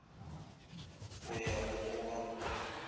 go ya go go ba